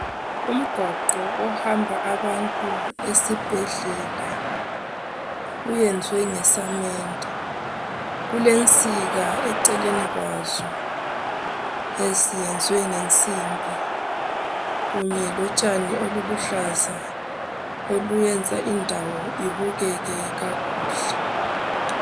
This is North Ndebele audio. Umgwaqo ohamba abantu esibhedlela uyenzwe ngesamende kulensika eceleni kwazo eziyenzwe ngemsimbi kunye lotshani obuluhlaza oluyenza indawo ibukeke kakuhle